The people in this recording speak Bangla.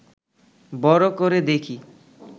বড় করে দেখি